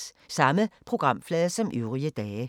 Samme programflade som øvrige dage